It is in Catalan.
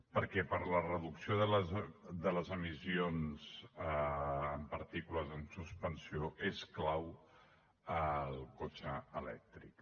perquè per a la reducció de les emissions de partícules en suspensió és clau el cotxe elèctric